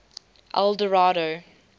eldorado